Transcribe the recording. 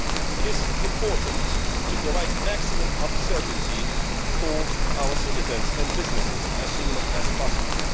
It is important to provide maximum certainty for our citizens and businesses as soon as possible.